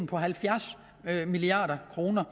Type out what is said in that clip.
på halvfjerds milliard kroner